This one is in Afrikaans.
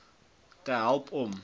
te help om